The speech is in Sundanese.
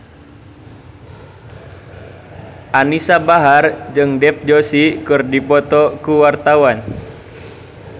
Anisa Bahar jeung Dev Joshi keur dipoto ku wartawan